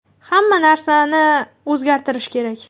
Hamma narsani o‘zgartirish kerak.